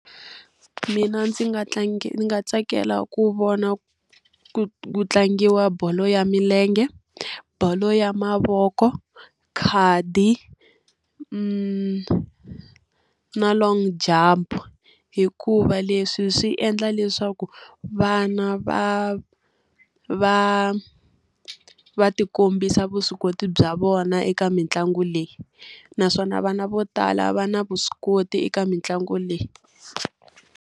Mina ndzi nga ndzi nga tsakela ku vona ku ku tlangiwa bolo ya milenge, bolo ya mavoko, khadi na long jump. Hikuva leswi swi endla leswaku vana va va va ti kombisa vuswikoti bya vona eka mitlangu leyi. Naswona vana vo tala va na vuswikoti eka mitlangu leyi.